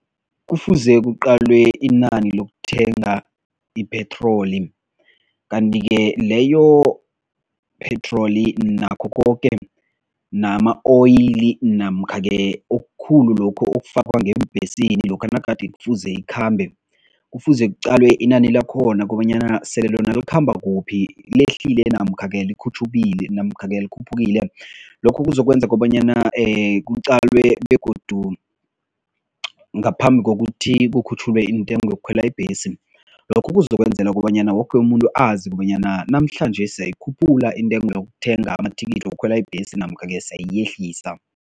Kufuze kuqalwe inani lokuthenga ipetroli kanti-ke leyo petroli nakho koke nama-oil namkha-ke okukhulu lokhu okufakwa ngeembhesini lokha nagade kufuze ikhambe, kufuze kuqalwe inani lakhona kobanyana sele lona likhamba kuphi, lehlile namkha-ke namkha-ke likhuphukile. Lokho kuzokwenza kobanyana kuqalwe begodu ngaphambi kokuthi kukhutjhulwe intengo yokukhwela ibhesi, lokho kuzokwenzela kobanyana woke umuntu azi kobanyana namhlanje siyayikhuphula intengo yokuthenga amathikithi wokukhwela ibhesi namkha-ke siyayehlisa.